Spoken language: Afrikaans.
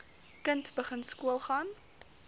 kind begin skoolgaan